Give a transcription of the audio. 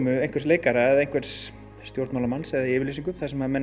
einhvers leikara eða einhvers stjórnmálamanns eða yfirlýsingu þar sem